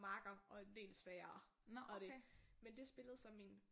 Makkere og en del sværere og det men det spillede så min